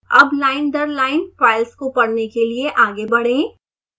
अब लाइन दर line files को पढ़ने के लिए आगे बढ़ें